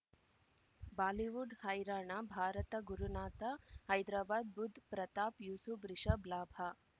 Bollywood ಹೈರಾಣ ಭಾರತ ಗುರುನಾಥ ಹೈದ್ರಾಬಾದ್ ಬುಧ್ ಪ್ರತಾಪ್ ಯೂಸುಫ್ ರಿಷಬ್ ಲಾಭ